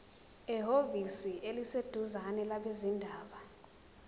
ehhovisi eliseduzane labezindaba